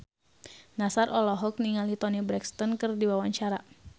Nassar olohok ningali Toni Brexton keur diwawancara